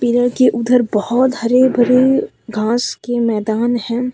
Pillar के उधर बहोत हरे भरे घास के मैदान हैं।